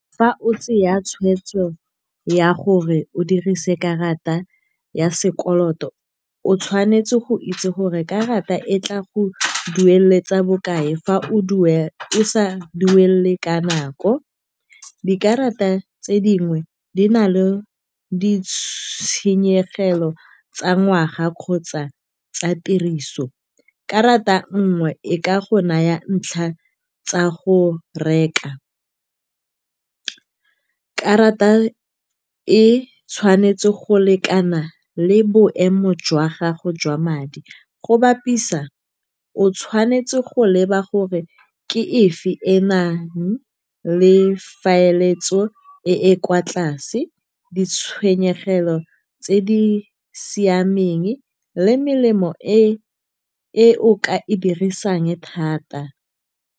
Fa o tseya tshweetso ya gore o dirise karata ya sekoloto, o tshwanetse go itse gore karata e tla go dueletsa bokae fa o o sa duele ka nako. Dikarata tse dingwe di na le ditshenyegelo tsa ngwaga kgotsa tsa tiriso. Karata nngwe e ka go naya ntlha tsa go reka. Karata e tshwanetse go lekana le boemo jwa gago jwa madi. Go bapisa, o tshwanetse go leba gore ke efe e e nang le tlhaeletso e e kwa tlase, ditshwenyegelo tse di siameng, le melemo e o ka e dirisang thata.